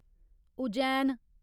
Ujjain